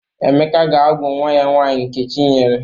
Emeka ga-agwụ nwa ya nwaanyi Nkechinyere.